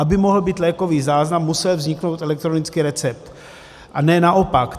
Aby mohl být lékový záznam, musel vzniknout elektronický recept, a ne naopak.